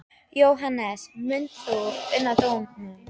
Jóhannes: Munt þú una dómnum?